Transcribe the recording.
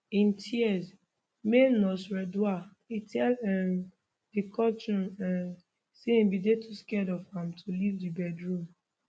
in tears male nurse redouan e tell um di courtroom um say im bin dey too scared of am to leave di bedroom